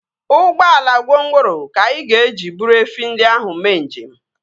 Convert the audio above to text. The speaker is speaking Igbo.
Ụgbọala gwongworo ka anyị ga-eji buru efi ndị ahụ mee njem